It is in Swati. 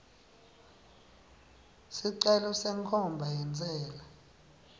sicelo senkhomba yentsela